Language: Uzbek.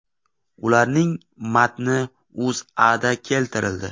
Ularning matni O‘zAda keltirildi .